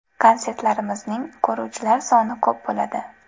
Konsertlarimning ko‘ruvchilar soni ko‘p bo‘ladi.